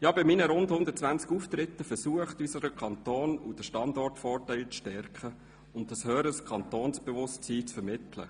Ich habe bei meinen rund 120 Auftritten versucht, unseren Kanton und den Standortvorteil zu stärken und ein höheres Kantonsbewusstsein zu vermitteln.